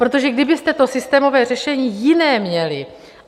Protože kdybyste to systémové řešení jiné měli...